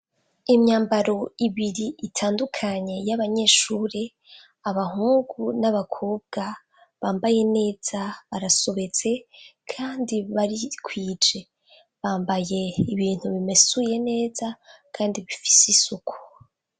Imyambaro ibiri itandukanye y'abanyeshure abahungu n'abakubwa bambaye neza barasubeze, kandi baritwije bambaye ibintu bimesuye neza, kandi bifise isuku.